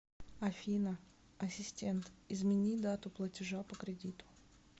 афина ассистент измени дату платежа по кредиту